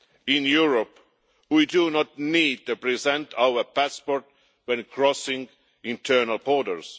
In Europe, we do not need to present our passport when crossing internal borders.